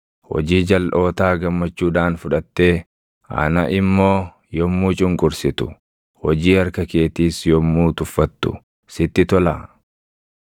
Hojii jalʼootaa gammachuudhaan fudhattee ana immoo yommuu cunqursitu, hojii harka keetiis yommuu tuffattu sitti tolaa?